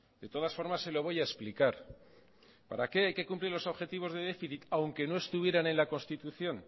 de todas formas se lo voy a explicar para qué hay que cumplir los objetivos de déficit aunque no estuvieran en la constitución